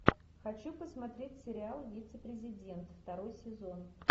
хочу посмотреть сериал вице президент второй сезон